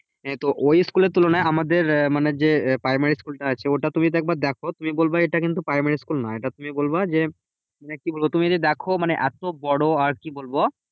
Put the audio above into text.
এ তো ওই school এর তুলনায় আমাদের মানে যে primary school টা আছে ওটা তুমি যদি একবার দেখো, তুমি বলবা এটা কিন্তু primary school নয়। এটা তুমি বলবা যে, কি বলবো? তুমি যদি দেখো মানে এত বড় আর কি বলবো?